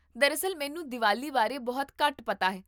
ਦਰਅਸਲ, ਮੈਨੂੰ ਦੀਵਾਲੀ ਬਾਰੇ ਬਹੁਤ ਘੱਟ ਪਤਾ ਹੈ